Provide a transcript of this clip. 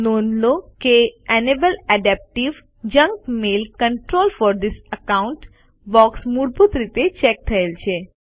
નોંધ લો કે enable adaptive junk mail controls for this account box મૂળભૂત રીતે ચેક થયેલ છે